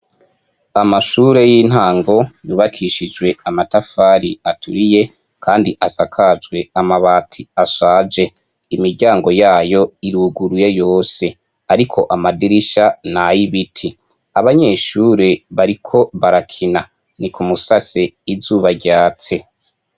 Amashure y'intango yubakishije amatafari aturiye kandi asakaje amabati ashaje ,imiryango yayo iruguruye yose ,ariko amadirisha nay'ibiti, abanyeshure bariko barakina, nik'umusase izuba ryatse.